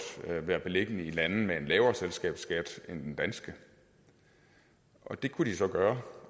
være beliggende i lande med en lavere selskabsskat end den danske det kunne de så gøre